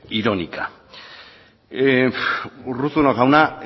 irónica urruzuno jauna